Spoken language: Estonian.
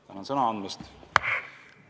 Tänan sõna andmast!